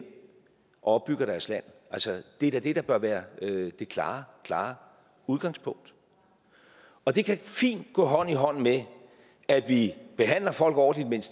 opbygger deres land altså det er da det der bør være det klare klare udgangspunkt og det kan fint gå hånd i hånd med at vi behandler folk ordentligt